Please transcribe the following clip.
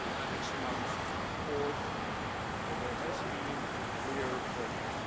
next month to report that there has been clear progress.